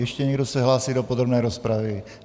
Ještě někdo se hlásí do podrobné rozpravy?